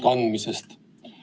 Kas saalis on heliga probleeme?